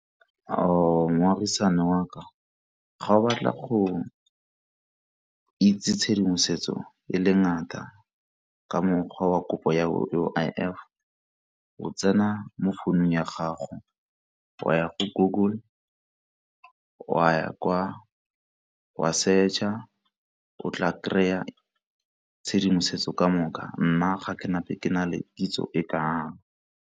Ao moagisane wa ka, ga o batle go itse tshedimosetso e le ngata ka mokgwa wa kopo ya U_I_F o tsena mo founung ya gago wa ya go Google wa ya kwa, wa search-a o tla kry-a tshedimosetso ka moka, nna ga ke na gape ke na le tshedimosetso e kalo.